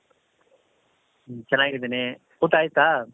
ಮ್ ಚೆನ್ನಾಗಿದ್ದೀನಿ ಊಟ ಆಯ್ತಾ ?